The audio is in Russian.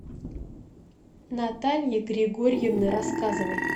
натальи григорьевны рассказовой